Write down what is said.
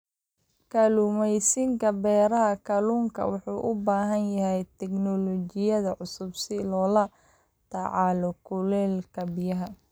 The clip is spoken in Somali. Kalluumaysiga beeraha kalluunka wuxuu u baahan yahay tiknoolajiyad cusub si loola tacaalo kuleylka biyaha.